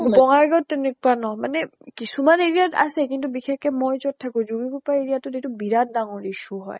বংগাইগাঁৱ্ত তেনেকুৱা ন মানে কিছুমান area ত আছে, বিশেষ কে মই যʼত থাকো যোগিঘোপা area টোত এইতো বিৰাত ডাঙৰ issue হয়।